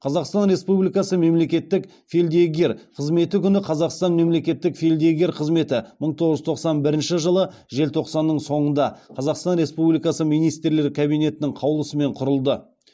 қазақстан республикасы мемлекеттік фельдъегер қызметі күні қазақстан мемлекеттік фельдъегер қызметі мың тоғыз жүз тоқсан бірінші жылы желтоқсанның соңында қазақстан республикасы министрлер кабинетінің қаулысымен құрылды